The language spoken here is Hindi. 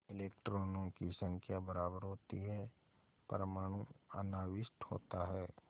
इलेक्ट्रॉनों की संख्या बराबर होती है परमाणु अनाविष्ट होता है